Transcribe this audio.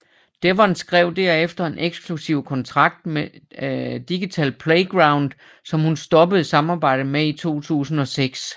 Devon skrev derefter en eksklusiv kontrakt med Digital Playground som hun stoppede samarbejdet med i 2006